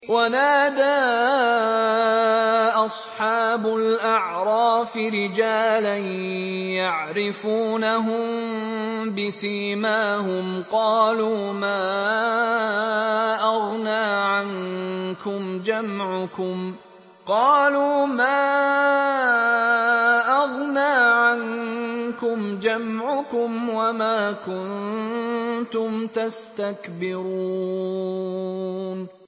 وَنَادَىٰ أَصْحَابُ الْأَعْرَافِ رِجَالًا يَعْرِفُونَهُم بِسِيمَاهُمْ قَالُوا مَا أَغْنَىٰ عَنكُمْ جَمْعُكُمْ وَمَا كُنتُمْ تَسْتَكْبِرُونَ